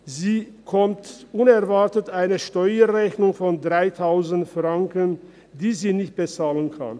Sie erhält unerwartet eine Steuerrechnung von 3000 Franken, die sie nicht bezahlen kann.